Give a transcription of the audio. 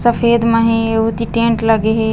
सफ़ेद मा हे आऊ ओती टेंट लगे हे।